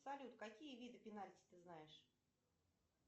салют какие виды пенальти ты знаешь